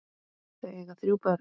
Þau eiga þrjú börn.